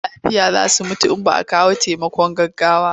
Marasa lafiya za su mutu in ba a kawo taimakon gaggawa ba.